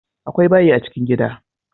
Akwai bayi a chikin gida